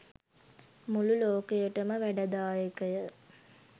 මුළු ලෝකයටම වැඩදායකය